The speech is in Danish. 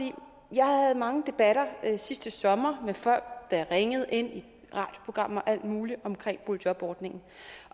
jeg havde mange debatter sidste sommer med folk der ringede ind i radioprogrammer og alt muligt om boligjobordningen